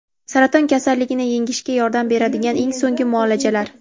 Saraton kasalligini yengishga yordam beradigan eng so‘nggi muolajalar.